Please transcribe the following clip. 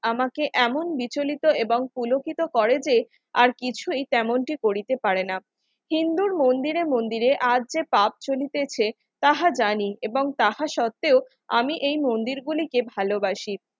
আমাকে এমন বিচলিত এবং পুলকিত করে যে আর কিছুই তেমনটি করিতে পারেনা হিন্দুর মন্দিরে মন্দিরে আজ যে পাপ চলিতেছে তাহা জানি এবং তাহা সত্ত্বেও আমি এই মন্দিরগুলিকে ভালোবাসি